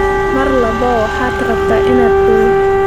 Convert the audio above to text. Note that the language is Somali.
Mar walba waxaad rabtaa inaad ooyo.